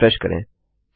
चलिए रिफ्रेश करें